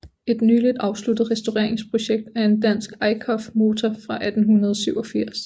Et nyligt afsluttet restaureringsprojekt er en dansk Eickhoff motor fra 1887